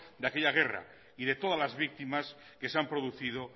de aquella guerra y de todas la víctimas que se han producido